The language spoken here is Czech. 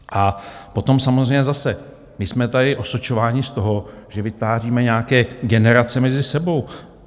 A potom samozřejmě zase my jsme tady osočováni z toho, že vytváříme nějaké generace mezi sebou.